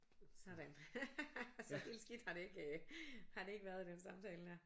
Sådan så helt skidt har det ikke øh har det ikke været i den samtale dér